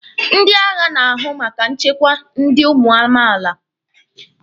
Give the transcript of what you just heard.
Ndị agha na-ahụ maka nchekwa ndi ụmụ amaala.